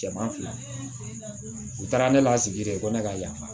Cɛman fila u taara ne lasigi de ko ne ka yan